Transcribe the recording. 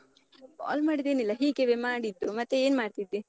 Call ಮಾಡಿದ್ದೇನಿಲ್ಲ. ಹೀಗಿವೇ ಮಾಡಿದ್ದು, ಮತ್ತೆ ಏನ್ ಮಾಡ್ತಿದ್ದೀ?